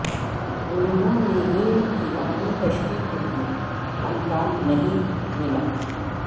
انہوں نے ان کی اپنی تشریح کے لئے امکان نہیں ملا